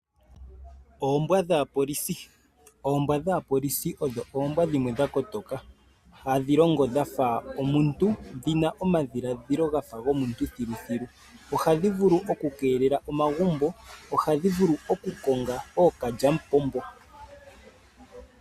Oombwa dhaapolisi, oombwa dhaapolisi odho oombwa dhimwe dha kotoka, hadhi longo dhafa omuntu, dhina omadhiladhilo gafa gomuntu thiluthilu. Ohadhi vulu oku keelela omagumbo, ohadhi vulu oku konga ookalyamupombo.